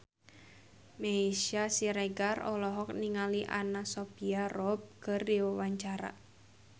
Meisya Siregar olohok ningali Anna Sophia Robb keur diwawancara